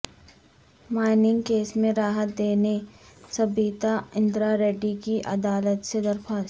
mining case میں راحت دینے سبیتا اندرا ریڈی کی عدالت سے درخواست